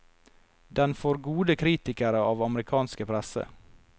Den får gode kritikere av amerikanske presse.